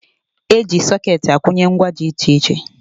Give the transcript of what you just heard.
E ji sọkeetị akwụnye ngwa dị iche iche